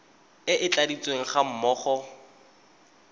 e e tladitsweng ga mmogo